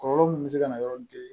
Kɔlɔlɔ min bɛ se ka na yɔrɔ min